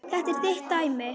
Þetta er þitt dæmi.